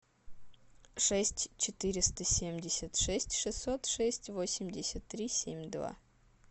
шесть четыреста семьдесят шесть шестьсот шесть восемьдесят три семь два